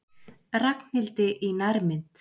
Ragnhildi í nærmynd.